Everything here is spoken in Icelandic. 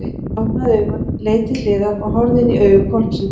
Hann opnaði augun og leit til hliðar og horfði inní augu hvolpsins!